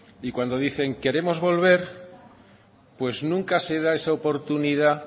y cuando dicen queremos volver pues nunca se da esa oportunidad